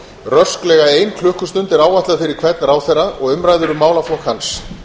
rösklega ein klukkustund er áætluð fyrir hvern ráðherra og umræður um málaflokk hans